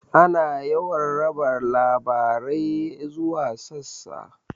Ana yawan raba labarai zuwa sassa.